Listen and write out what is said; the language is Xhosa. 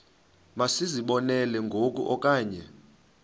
masizibonelele ngoku okanye